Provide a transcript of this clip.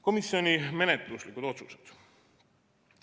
Komisjoni menetluslikud otsused.